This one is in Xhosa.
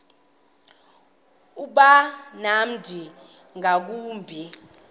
uba mnandi ngakumbi